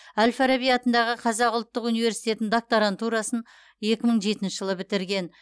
әл фараби атындағы қазақ ұлттық университетінің докторантурасын екі мың жетінші жылы бітірген